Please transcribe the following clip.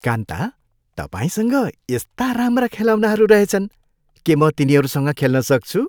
कान्ता, तपाईँसँग यस्ता राम्रा खेलौनाहरू रहेछन्। के म तिनीहरूसँग खेल्न सक्छु?